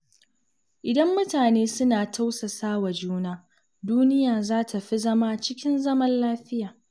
Idan mutane suna tausasa wa juna, duniya za ta fi zama cikin zaman lafiya.